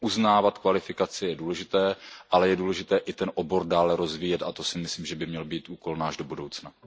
Uznávat kvalifikaci je důležité, ale je důležité i ten obor dále rozvíjet, a to si myslím, že by měl být náš úkol do budoucna.